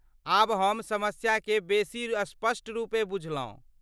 आब हम समस्या केँ बेसी स्पष्ट रूपेँ बुझलहुँ।